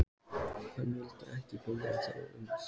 Hann vildi ekki biðja þá um sígarettu.